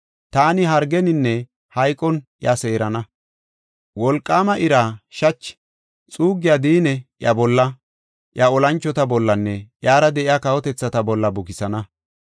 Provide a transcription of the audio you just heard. Taani hargeninne hayqon iya seerana; wolqaama ira, shachi, xuuggiya diinne iya bolla, iya olanchota bollanne iyara de7iya kawotethata bolla bukisana.